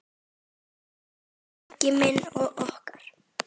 Elsku Siggi minn og okkar.